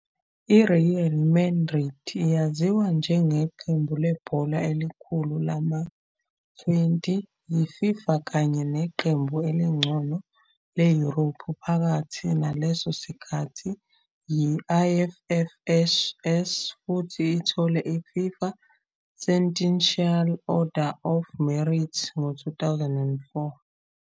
I-Real Madrid iyaziwa njenge iqembu lebhola elikhulu lekhulu lama-20 yi-FIFA kanye ne iqembu elingcono leYurophu phakathi naleso sikhathi yi-IFFHS, futhi ithole iFIFA Centennial Order of Merit ngo-2004.